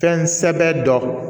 Fɛn sɛbɛ dɔ